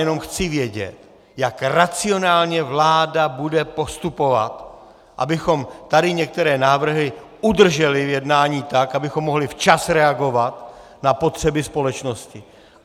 Jenom chci vědět, jak racionálně vláda bude postupovat, abychom tady některé návrhy udrželi v jednání tak, abychom mohli včas reagovat na potřeby společnosti.